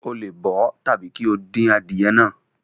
O le bọ ọ tabi ki o dín adìye náà.